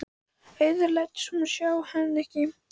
Auður lætur sem hún sjái hana ekki.